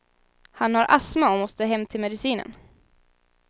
Han har astma och måste hem till medicinen.